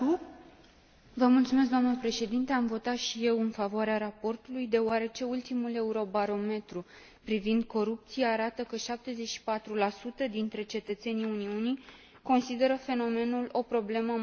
Am votat și eu în favoarea raportului, deoarece ultimul Eurobarometru privind corupția arată că 74 dintre cetățenii Uniunii consideră fenomenul o problemă majoră în țara lor.